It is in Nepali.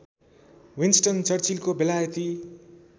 विन्सटन चर्चिलको बेलायती